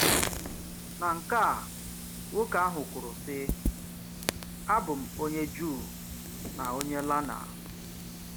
Na nke à, nwoke àhụ̀ kwùrù, sị̀: “Abù m onye Jùù na onye lána